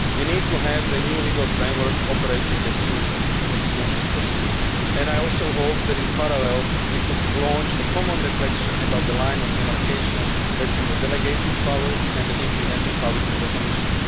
We need to have the new legal framework operating as soon as possible, and I also hope that in parallel we could launch a common reflection about the line of demarcation between the delegated powers and the implementing powers of the Commission.